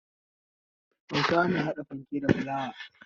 Hausawa na hada fanke da fulawa.